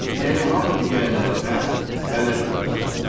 Yəni hamı digərlərinə bələddir.